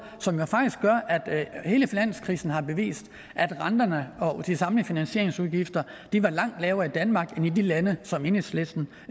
som jo faktisk gør at hele finanskrisen har bevist at renterne og de samlede finansieringsudgifter var langt lavere i danmark end i de lande som enhedslisten